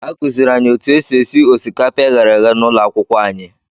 Akụziiri anyị otu esi esi osikapa e ghere eghe n'ụlọ akwụkwọ anyị.